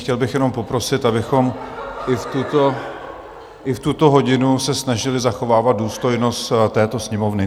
Chtěl bych jenom poprosit, abychom i v tuto hodinu se snažili zachovávat důstojnost této Sněmovny.